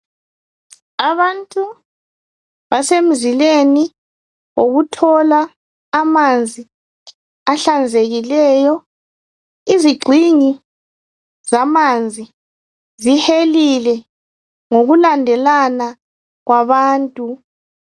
Abantu basemzileni wokuthola amanzi ahlanzekileyo izigxingi zamanzi zihelile ngokulandelana kwabantu